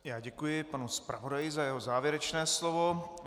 Já děkuji panu zpravodaji za jeho závěrečné slovo.